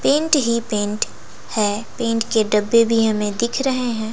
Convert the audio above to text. Paint ही paint है paint के डब्बे भी हमें दिख रहे हैं।